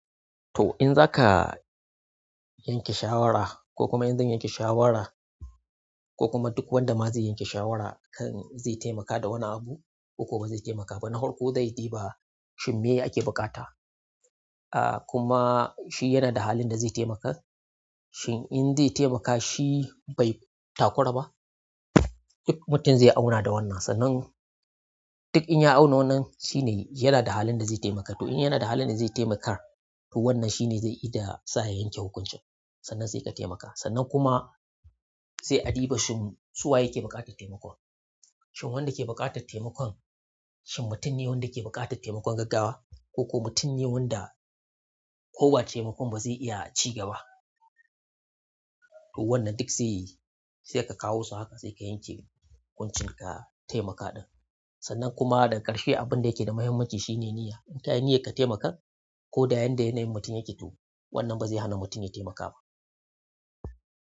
To in za ka yanke shawara ko kuma in zan yanke shawara ko kuma duk wanda ma zai yanke shawara kan zai taimaka da wani abu ko kuma ba zai taimaka ba, na horƙo zai ɗiba shin me ake buƙata. Ah kuma shi yana da halin da zai taimaka, shin in zai taimaka shi bai takura ba? Duk mutum zai auna da wannan. Sannan duk in ya auna wannan shine yana da halin da zai taimaka. To in yana da halin da zai taimakar to wannan shine zai yi da sa'a yanke hukuncin. Sannan sai ka taimaka. Sannan kuma sai a ɗiba shin su waye ke buƙatar taimakon. Shin wanda ke buƙatar taimakon, shin mutum ne wanda ke buƙatar taimakon gaggawa ko kuma mutum ne wanda ko ba taimakon ba zai iya ci gaba. To wannan duk saiyayi, saika kawo su haka saika yanke hukuncin ka taimaka ɗin. Sannan kuma daga ƙarshe abin da yake da muhimmanci shine niyya. In ka yi niyyar ka taimaka ko da yan da yanayin mutum yake to wannan ba zai hana mutum ya taimaka ba.